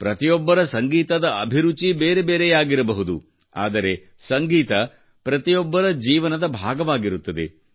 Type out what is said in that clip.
ಪ್ರತಿಯೊಬ್ಬನ ಸಂಗೀತದ ಅಭಿರುಚಿ ಬೇರೆ ಬೇರೆಯಾಗಿರಬಹುದು ಆದರೆ ಸಂಗೀತ ಪ್ರತಿಯೊಬ್ಬರ ಜೀವನದ ಭಾಗವಾಗಿರುತ್ತದೆ